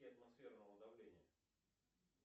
атмосферного давления